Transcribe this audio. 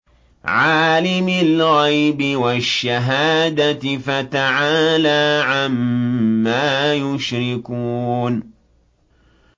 عَالِمِ الْغَيْبِ وَالشَّهَادَةِ فَتَعَالَىٰ عَمَّا يُشْرِكُونَ